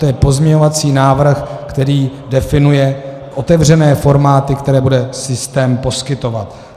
To je pozměňovací návrh, který definuje otevřené formáty, které bude systém poskytovat.